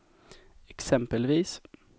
exempelvis